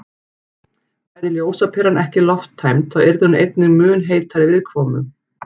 Væri ljósaperan ekki lofttæmd þá yrði hún einnig mun heitari viðkomu.